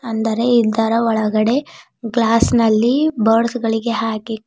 ಅಂದರೆ ಇದ್ದರ ಒಳಗಡೆ ಗ್ಲಾಸ್ ನಲ್ಲಿ ಬರ್ಡ್ಸ್ ಗಳಿಗೆ ಹಾಕಿ--